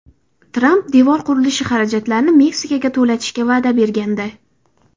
Tramp devor qurilishi xarajatlarini Meksikaga to‘latishga va’da bergandi.